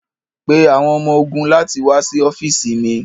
Pe awọn ọmọ-ogun lati wa si ọfiisi mi